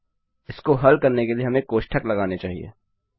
अब इसको हल करने के लिए हमें कोष्ठक लगाने चाहिए